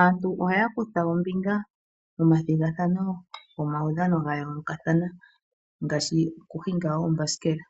Aantu ohaya kutha ombinga momathigathano gomaudhano gayoolokathana ngaashi okuhinga oombasikela